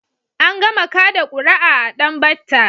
An gama kaɗa ƙura'a a Danbatta.